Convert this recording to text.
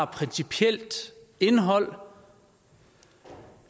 principielt indhold